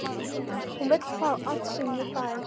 Hún vill fá allt sem ég fæ.